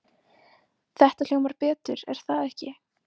Þetta hljómar betur er það ekki?